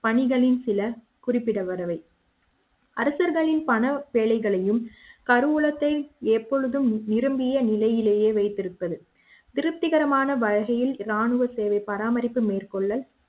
பணிகளில் சில குறிப்பிடத்தக்கவை அரசர்களின் பண பிழைகளையும் கருவூலத்தை எப்பொழுதும் நிரம்பிய நிலையிலேயே வைத்திருப்பது திருப்திகரமான பணிகளில் ராணுவ சேவை பராமரிப்பு மேற்கொள்ள